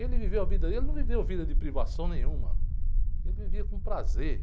Ele não viveu vida dele, ele num viveu vida de privação nenhuma, ele vivia com prazer.